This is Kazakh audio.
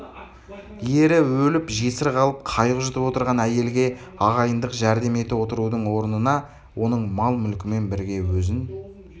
ері өліп жесір қалып қайғы жұтып отырған әйелге ағайындық жәрдем ете отырудың орнына оның мал-мүлкімен бірге өзін